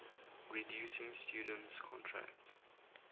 reducing students contact